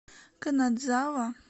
канадзава